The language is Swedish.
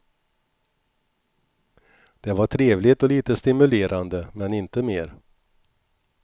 Det var trevligt och lite stimulerande men inte mer.